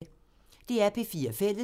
DR P4 Fælles